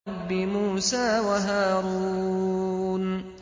رَبِّ مُوسَىٰ وَهَارُونَ